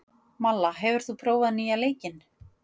Malla, hefur þú prófað nýja leikinn?